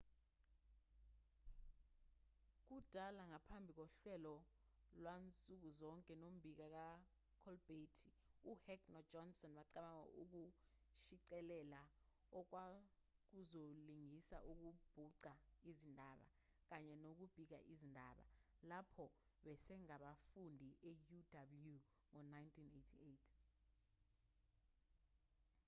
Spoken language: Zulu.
kudala ngaphambi kohlelo lwansukuzonke nombiko kakholbhethi uheck nojohnson bacabanga ukushicilela okwakuzolingisa ngokubhuqa izindaba-kanye nokubika izindaba-lapho besengabafundi e-uw ngo-1988